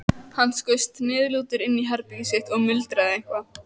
Hann skaust niðurlútur inn í herbergið sitt og muldraði eitthvað.